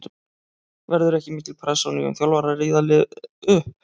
Verður ekki mikil pressa á nýjum þjálfara að rífa liðið upp?